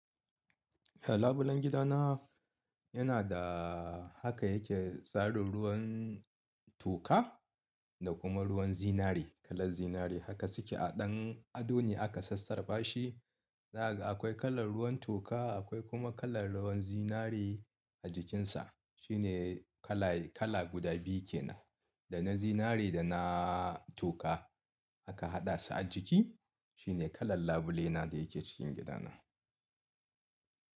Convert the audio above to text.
Eh labulen gidana yana da haka yake tsarin ruwan toka da kuma ruwan zinari kalar zinari haka suke a ɗan ado ne aka sassarfa shi. Zaga akwai kalar ruwan toka akwai kuma kalar ruwan zinari a jikinsa. Shine kala guda biyu ke nan, da na zinari da na toka aka haɗa su a jiki shine kalar labule na da yake cikin gidana.